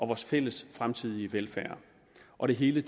vores fælles fremtidige velfærd og det hele